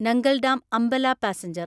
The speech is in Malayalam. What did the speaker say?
Nangal dam Ambala passenger